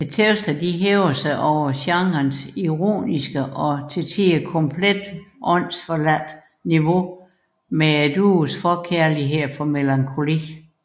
Teksterne hæver sig over genrens ironiske og til tider komplet åndsforladte niveau med duoens forkærlighed for melankoli